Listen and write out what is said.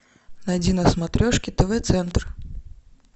найди на смотрешке тв центр